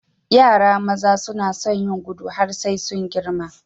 Yara maza suna sun yin gudu har sai sun girma.